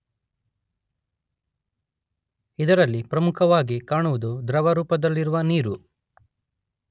ಇದರಲ್ಲಿ ಪ್ರಮುಖವಾಗಿ ಕಾಣುವುದು ದ್ರವ ರೂಪದಲ್ಲಿರುವ ನೀರು.